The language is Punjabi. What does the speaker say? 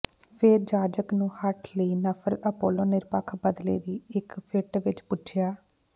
ਫ਼ੇਰ ਜਾਜਕ ਨੂੰ ਹਠ ਲਈ ਨਫ਼ਰਤ ਅਪੋਲੋ ਨਿਰਪੱਖ ਬਦਲੇ ਦੀ ਇੱਕ ਫਿੱਟ ਵਿੱਚ ਪੁੱਛਿਆ